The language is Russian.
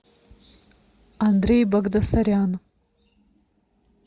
андрей багдасарян